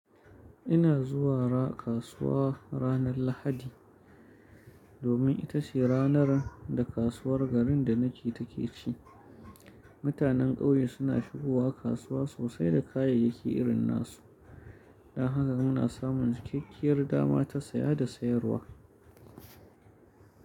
Ina zuwa kasuwa ranar Lahadi domin ita ce ranar da kasuwar garin da nake take ci. Mutanen ƙauye suna shigowa kasuwa sosai da kayayyaki irin na su, don haka muna samun cikakkiyar dama ta saya da sayarwa.